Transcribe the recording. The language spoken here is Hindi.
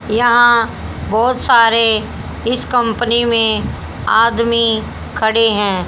यहां बहोत सारे इस कंपनी में आदमी खड़े है।